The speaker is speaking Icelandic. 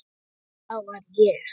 Það var ég!